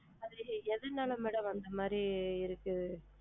சரி எதனால madam அந்த மாதிரி இருக்கு,